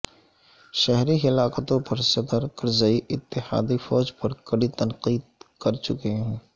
شہری ہلاکتوں پر صدر کرزئی اتحادی فوج پر کڑی تنقید کر چکے ہیں